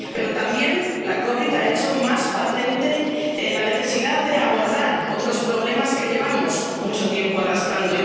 Pero también la COVID ha hecho más patente la necesidad de abordar otros problemas que llevamos mucho tiempo arrastrando.